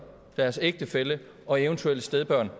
deres ægtefælle og eventuelle stedbørn